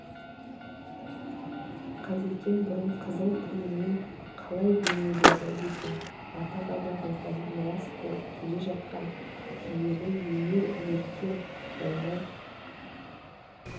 қазекең бұрын қызыл тілімен қалай бейнеледі екен ата-бабамыздан мирас болып келе жатқан киелі өнер өркен жаймай